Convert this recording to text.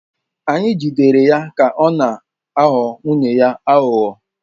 Anyị jidere ya na-aghọ nwunye ya aghụghọ.